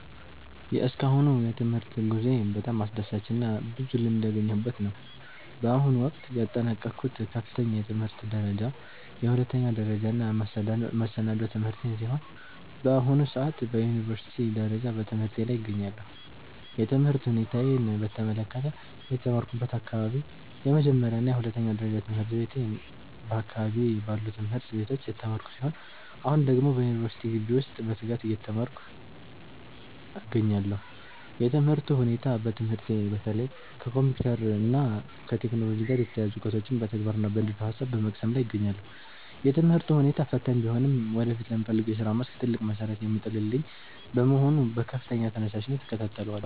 የእስካሁኑ የትምህርት ጉዞዬ በጣም አስደሳችና ብዙ ልምድ ያገኘሁበት ነው። በአሁኑ ወቅት ያጠናቀቅኩት ከፍተኛ የትምህርት ደረጃ የሁለተኛ ደረጃና መሰናዶ ትምህርቴን ሲሆን፣ በአሁኑ ሰዓት በዩኒቨርሲቲ ደረጃ በትምህርቴ ላይ እገኛለሁ። የትምህርት ሁኔታዬን በተመለከተ፦ የተማርኩበት አካባቢ፦ የመጀመሪያና የሁለተኛ ደረጃ ትምህርቴን በአካባቢዬ ባሉ ትምህርት ቤቶች የተማርኩ ሲሆን፣ አሁን ደግሞ በዩኒቨርሲቲ ግቢ ውስጥ በትጋት እየተማርኩ እገኛለሁ። የትምህርቱ ሁኔታ፦ በትምህርቴ በተለይ ከኮምፒውተር እና ከቴክኖሎጂ ጋር የተያያዙ እውቀቶችን በተግባርና በንድፈ-ሐሳብ በመቅሰም ላይ እገኛለሁ። የትምህርቱ ሁኔታ ፈታኝ ቢሆንም ወደፊት ለምፈልገው የሥራ መስክ ትልቅ መሠረት የሚጥልልኝ በመሆኑ በከፍተኛ ተነሳሽነት እከታተለዋለሁ።